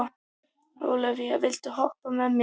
Ólavía, viltu hoppa með mér?